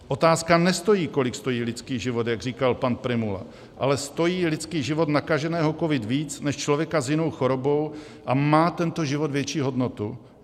Otázka nestojí, kolik stojí lidský život, jak říkal pan Prymula, ale stojí lidský život nakaženého covidem víc než člověka s jinou chorobou a má tento život větší hodnotu?